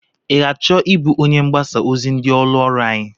I ga-achọ ịbụ onye mgbasa ozi ndị ụlọ ọrụ anyị?